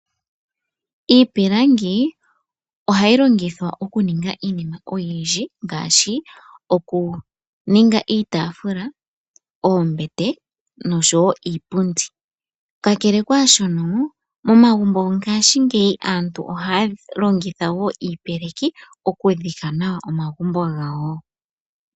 Iipilangi ohayi longithwa okuninga iinima oyindji ngaashi okuninga iitaafula, oombete noshowo iipundi. Kakele kwaashona momagumbo go ngaashingeyi aantu ohaya longitha woo iipeleki okudhika nayo omagumbo gawo.